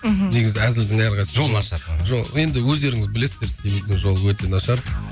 мхм негізі әзілдің әр қайсысы жол нашар енді өздеріңіз білесіздер семейдің жолы өте нашар